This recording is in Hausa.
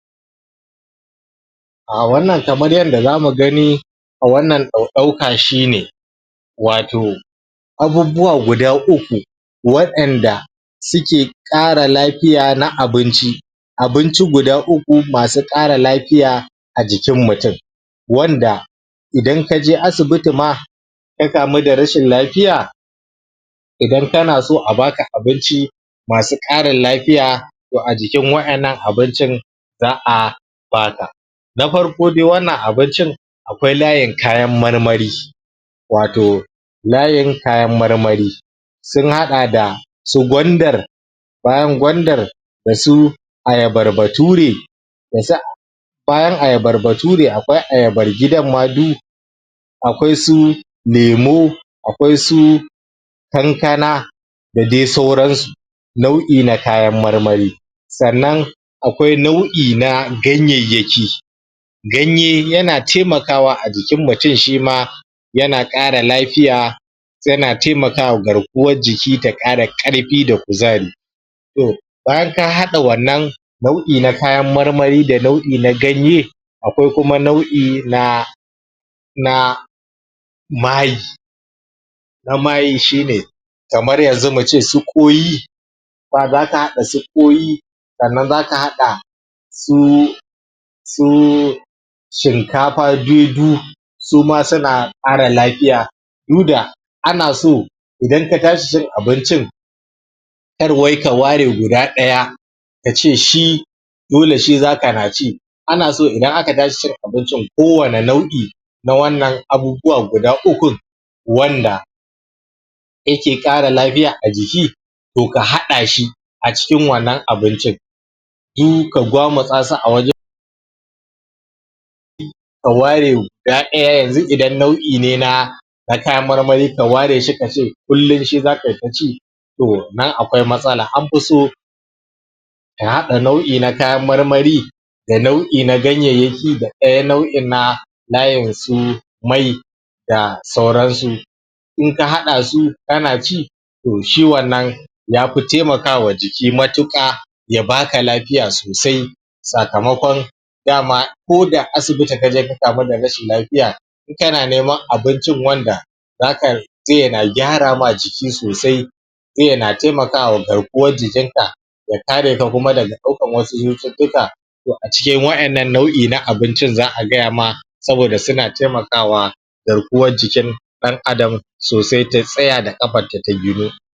Ah wannan kamar yanda zamu gani a wannan ɗau ɗauka shi ne wato abubuwa guda uku wa'inda suke ƙara lafiya na abinci abunci guda uku masu ƙara lafiya a jikin mutum wanda idan kaje asibiti ma ka kamu da rashin lafiya idan kana so a baka abinci masu ƙarin lafiya toh a jikin wa'innan abincin za'a bata na farko dai wannan abincin akwai layin kayan marmari wato layin kayan marmari sun haɗa da su gwandar bayan gwandar dasu ayabar bature dasu a bayan ayabarba sune akwai ayabar gidan ma du akwai su lemo akwai su kankana da dai sauran su nau'i na kayan marmari sannan akwai nau'i na ganyeyyaki ganye yana taimakawa a jikin mutum shima yana ƙara lafiya yana taimakawa garkuwar jiki da ƙara ƙarfi da kuzari toh bayan ka haɗa wannan nau'i na kayan marmari da nau'i na ganye akwai kuma nau'i na na mai na mayin shi ne kamar yanzu mu ce su kwai ba zaka haɗa su ƙwai sannan zasu haɗa suu suu shinkafa suma suna ƙara lafiya du da ana so idan ka tashi cin abincin kar wai ka ware guda ɗaya kace shi dole shi za kana ci ana so idan aka tashi cin abincin ko wane nau'i na wannan abubuwa guda ukun wanda yake ƙara lafiya a jiki toh ka haɗa shi acikin wannan abincin du ka gwamutsa su a wajen ka ware guda ɗaya yanzu idan nau'i ne na na kayan marmari ka ware shi kace kullum shi zakai ta ci toh nan akwai matsala anfi so ka haɗa nau'i na kayan marmari da nau'i na ganyeyyaki da ɗaya nau'in na layin su mai da sauran su in ka haɗa su kana ci toh shi wannan yafi taimakawa jiki matuƙa ya baka lafiya sosai sakamakon dama koda asibiti kaje ka kamu da rashin lafiya in kana neman abuncin wanda zaka zai yana gyara ma jiki sosai sai yana taimakawa garkuwar jikin ka ya kare kuma daga ɗaukan wasu cututtuka toh acikin wa'innan nau'i na abincin za'a gaya ma saboda suna taimakawa garkuwar jikin ɗan adam so, sai ta tsaya da ƙafanta ta ginu